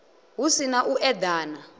hu si na u eḓana